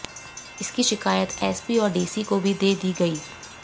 इसकी शिकायत एसपी और डीसी को भी दे दी गई